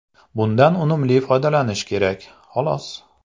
Bundan unumli foydalanish kerak, xolos.